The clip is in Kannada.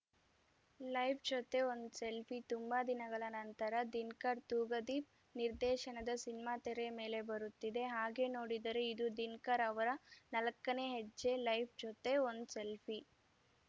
ಲೈಫ್‌ ಜೊತೆ ಒಂದ್‌ ಸೆಲ್ಫಿ ತುಂಬಾ ದಿನಗಳ ನಂತರ ದಿನ್ಕರ್‌ ತೂಗದೀಪ್‌ ನಿರ್ದೇಶನದ ಸಿನಿಮಾ ತೆರೆ ಮೇಲೆ ಬರುತ್ತಿದೆ ಹಾಗೆ ನೋಡಿದರೆ ಇದು ದಿನ್ಕರ್‌ ಅವರ ನಾಲ್ಕನೇ ಹೆಜ್ಜೆ ಲೈಫ್‌ ಜೊತೆ ಒಂದ್‌ ಸೆಲ್ಫಿ